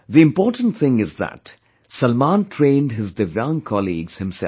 The important thing is that Salman trained his divyang colleagues himself